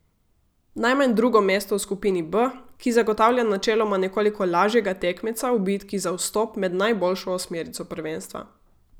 Najmanj drugo mesto v skupini B, ki zagotavlja načeloma nekoliko lažjega tekmeca v bitki za vstop med najboljšo osmerico prvenstva.